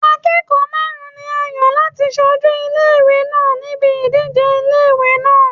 Akẹ́kọ̀ọ́ márùn-ún ni a yàn láti ṣojú ilé ìwé náà níbi ìdíje ilé ìwé náà.